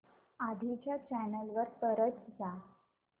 आधी च्या चॅनल वर परत जा